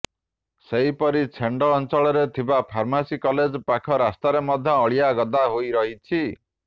ସେହିପରି ଛେଣ୍ଡ ଅଞ୍ଚଳରେ ଥିବା ଫାର୍ମାସି କଲେଜ ପାଖ ରାସ୍ତାରେ ମଧ୍ୟ ଅଳିଆ ଗଦା ହୋଇରହିଛି